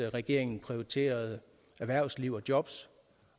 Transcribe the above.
regeringen prioriterede erhvervsliv og jobs